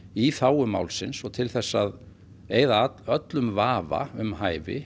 í þágu málsins til að eyða öllum vafa um hæfi